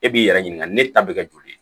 E b'i yɛrɛ ɲininka ne ta bɛ kɛ joli ye